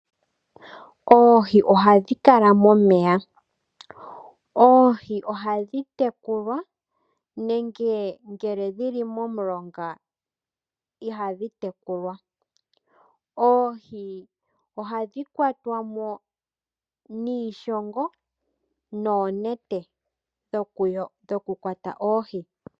Oohi ohadhi kala momeya. Oohi ohadhi tekulwa nenge ngele dhili momulonga ihadhi tekulwa. Oohi ohadhi kwatwa mo niishongo noonete dhokukwatwa oohi.